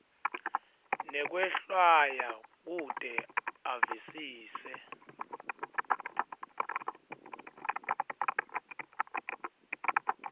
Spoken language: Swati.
nekwehlwaya kute avisise